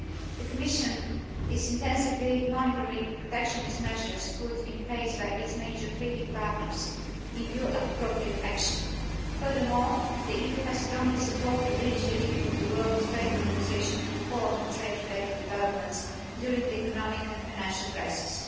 The Commission is intensively monitoring protectionist measures put in place by its major trading partners with a view to appropriate action. Furthermore, the EU has strongly supported the initiative of the World Trade Organisation to report on trade related developments during the economic and financial crisis.